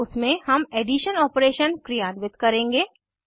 उसमे हम addition operation क्रियान्वित करेंगे